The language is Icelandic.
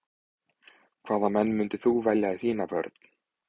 Hvaða menn myndir þú velja í þína vörn?